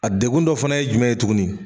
A degun dɔ fana ye jumɛn ye tuguni